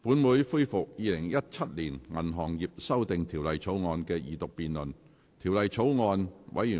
本會恢復《2017年銀行業條例草案》的二讀辯論。